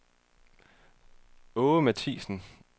Aage Mathiassen